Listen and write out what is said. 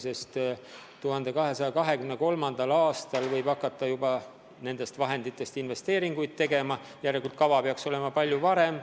2023. aastal võib hakata juba nendest vahenditest investeeringuid tegema, kava peaks valmis olema palju varem.